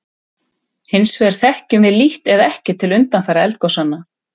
Hins vegar þekkjum við lítt eða ekki til undanfara eldgosanna.